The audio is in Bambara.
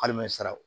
Hali mɛ sa